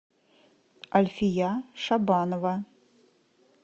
альфия шабанова